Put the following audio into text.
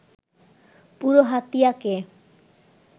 পুরো হাতিয়াকে